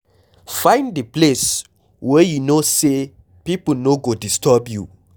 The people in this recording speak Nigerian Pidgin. Find di place where you know sey pipo no go come disturb you